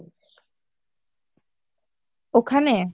ওখানে